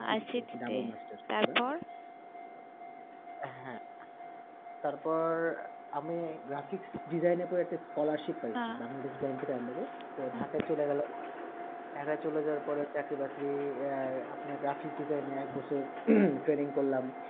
তার পর আমি graphic design এ তো একটা scholarship পাইছি বাংলাদেশ ব্যাংকের under তো ঢাকায় চলে গেলাম ঢাকায় চলে যাওয়ার পরে চাকরি বাকরি আপনার graphic design র এক বছর হম training করলাম